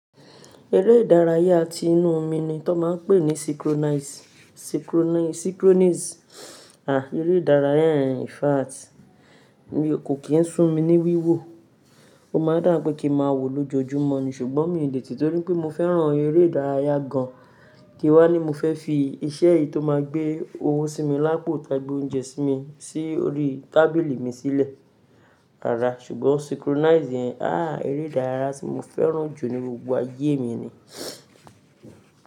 Eré ìdárayá tí inú omi ni tọ máa ń pè ní synchronize, synchronize. À, eré ìdárayá yẹn in fact mi kò kí ń sún mi ní wíwò. Ó máa ń dà pé kí má wò lójojúmọ́ ni ṣùgbọ́n mi ò lè tì torí pé mo fẹ́ràn eré ìdárayá kan. Kìí wá ni mo fẹ́ fi iṣẹ́ eyi tó máa gbé owó sí mi lápò tá gbé oúnjẹ sí mi sí orí tábìlì mi sílẹ̀. Rara ṣùgbọ́n synchronize yẹn, á eré ìdárayá tí mo fẹ́ràn jù ní gbogbo ayé mi ni.